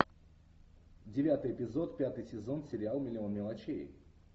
девятый эпизод пятый сезон сериал миллион мелочей